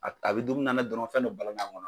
A a bɛ dumuni na dɔrɔn fɛn dɔ balanna a ngɔnɔ na